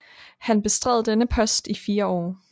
Han bestred denne post i fire år